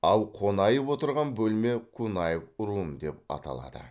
ал қонаев отырған бөлме кунаев рум деп аталады